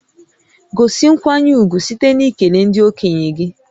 Gosi nkwanye ùgwù site n'ikele ndị okenye gị